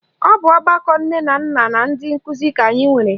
Ọ bụ ọgbakọ nne na nna na ndị nkụzi ka anyị nwere